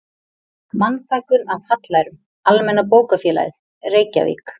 Mannfækkun af hallærum, Almenna bókafélagið, Reykjavík